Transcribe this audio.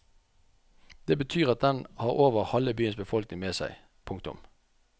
Det betyr at den har over halve byens befolkning med seg. punktum